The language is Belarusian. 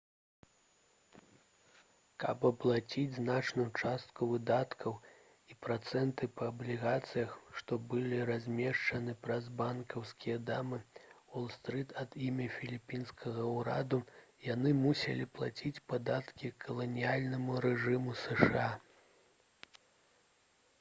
каб аплаціць значную частку выдаткаў і працэнты па аблігацыях што былі размешчаны праз банкаўскія дамы уол-стрыт ад імя філіпінскага ўраду яны мусілі плаціць падаткі каланіяльнаму рэжыму зша